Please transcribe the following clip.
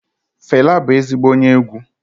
Fẹla bụ ezigbo onye egwu.